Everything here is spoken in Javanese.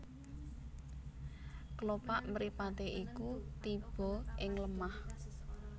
Klopak mripaté iku tiba ing lemah